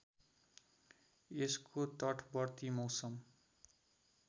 यसको तटवर्ती मौसम